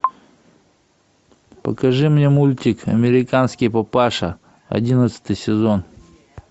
покажи мне мультик американский папаша одиннадцатый сезон